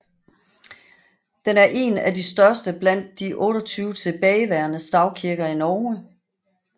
Den er en af de største blandt de 28 tilbageværende stavkirker i Norge